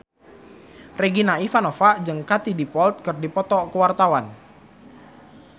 Regina Ivanova jeung Katie Dippold keur dipoto ku wartawan